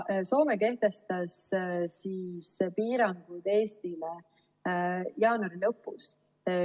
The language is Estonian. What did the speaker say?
Soome kehtestas piirangud Eestile jaanuari lõpus.